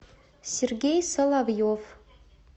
сергей соловьев